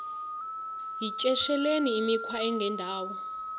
yityesheleni imikhwa engendawo